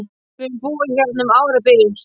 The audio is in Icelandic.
Við höfum búið hérna um árabil!